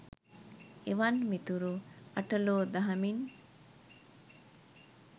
එවන් මිතුරෝ අට ලෝ දහමින්